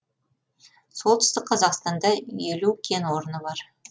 солтүстік қазақстанда елу кен орны бар